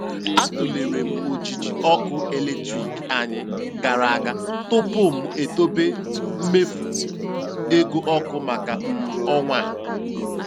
A tụlere m ojiji ọkụ eletrik anyị gara aga tupu m dobe mmefu ego ọkụ maka um ọnwa um a.